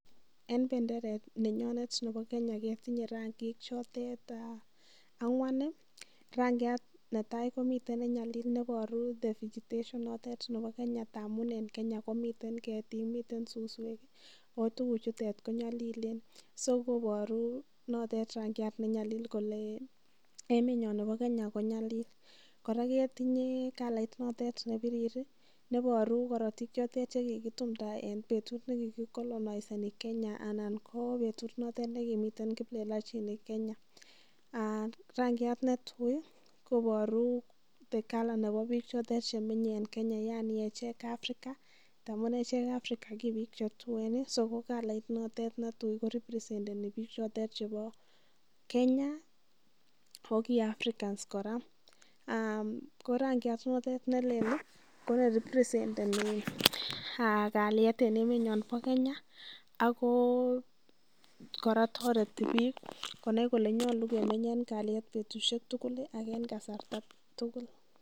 En benderet nenyonet nebo Kenya ketinye ranging chote ang'wa. Rangiat netai ko ne nyalil neiboru vegetation notet nebo Kenya, amun en Kenya komiten ketik miten suswek ago tuguchutet konyolilen, so nitet koboru rangiat ne nyalil kole emenyon nebo Kenya ko nyalil kora ketinye kalit notet nebirir neboru korotik chotet che kigiitiumda en betut ne kigikolonoiseni Kenya ana ko betut notet nekimete kiplelachinik Kenya. Rangiat netui koboru the colour nebo biik chemenye en Kenya yani echek Africa ngamun echek Africans ko ki biik che tuen so ko kalait notet netui ko reppresenteni biik chotet chebo Kenya ago ki Africans kora. Ko rangiat notet ne lel ko ne representeni kalyet en emenyon bo Kenya ago kora toreti biik konai kolenyolu kemeny en kalyet betushek tugul ak en kasarta age tugul